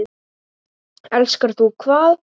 Elskar þú hvað?